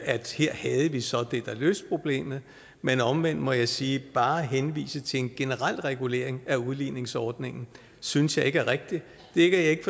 at sige at her har vi så det der løser problemet men omvendt må jeg sige at bare at henvise til en generel regulering af udligningsordningen synes jeg ikke er rigtigt det er ikke